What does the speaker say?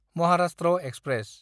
Maharashtra express